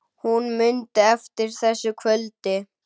Hún mundi eftir þessu kvöldi.